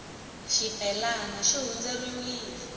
xibelana xi hundzeriwile